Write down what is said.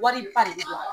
Wari ba de bɛ jɔ